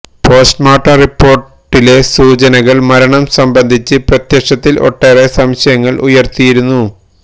postmortem റിപ്പോര്ട്ടിലെ സൂചനകള് മരണം സംബന്ധിച്ച് പ്രത്യക്ഷത്തില് ഒട്ടേറെ സംശയങ്ങള് ഉയര്ത്തിയിരുന്നു